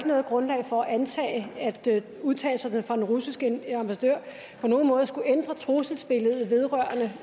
noget grundlag for at antage at udtalelserne fra den russiske ambassadør på nogen måde skulle ændre trusselsbilledet vedrørende